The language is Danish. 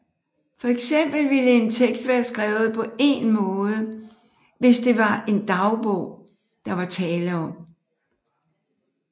For eksempel ville en tekst være skrevet på én måde hvis det var en dagbog der var tale om